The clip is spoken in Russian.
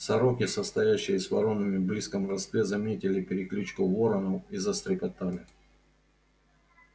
сороки состоящие с воронами в близком родстве заметили перекличку воронов и застрекотали